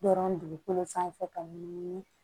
Dɔrɔn dugukolo sanfɛ ka ɲugu